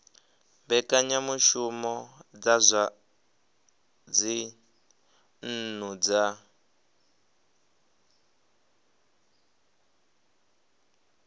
mbekanyamushumo dza zwa dzinnu dza